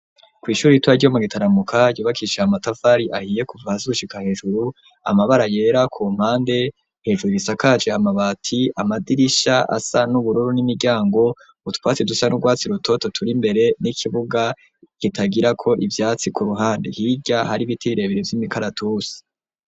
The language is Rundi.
Kwishuri ritoya ryo mu Gitaramuka yubakishe amatafari ahiye kuva hasi gushika hejuru amabara yera ku mpande hejuru gisakaje amabati amadirisha asa n'ubururu n'imiryango Utwatsi dusa n'urwatsi rutoto turi mbere n'ikibuga gitagira ko ibyatsi ku ruhande hirya hari ibiti birebere vy'imikaratusi.